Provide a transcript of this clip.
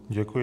Děkuji.